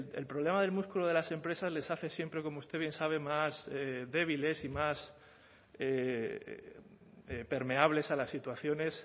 el problema del músculo de las empresas les hace siempre como usted bien sabe más débiles y más permeables a las situaciones